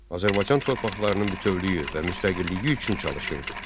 Azərbaycan torpaqlarının bütövlüyü və müstəqilliyi üçün çalışırdı.